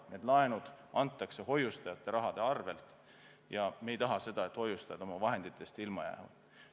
Need laenud antakse hoiustajate raha arvel ja me ei taha seda, et hoiustajad oma vahenditest ilma jäävad.